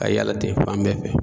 A ye yaala ten fan bɛɛ fɛ.